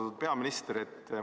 Austatud peaminister!